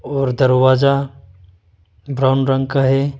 और दरवाजा ब्राऊन रंग का है।